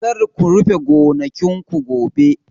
Kar ku rufe gonakin ku gobe!